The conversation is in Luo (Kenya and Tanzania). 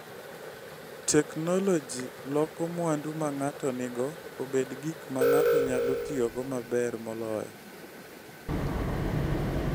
Teknoloji loko mwandu ma ng'ato nigo obed gik ma ng'ato nyalo tiyogo maber moloyo.